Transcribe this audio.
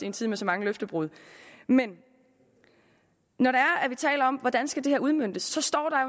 en tid med så mange løftebrud men når vi taler om hvordan skal udmøntes